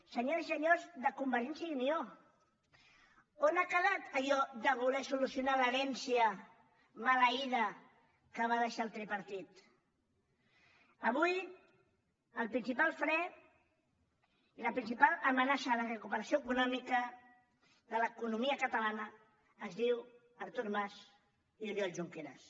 senyores i senyors de convergència i unió on ha quedat allò de voler solucionar l’herència maleïda que va deixar el tripartit avui el principal fre i la principal amenaça per a la recuperació econòmica de l’economia catalana es diu artur mas i oriol junqueras